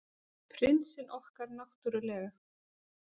Prinsinn okkar, náttúrlega.